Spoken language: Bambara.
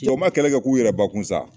Cɛw ma kɛlɛ kɛ k'u yɛrɛ bakun sa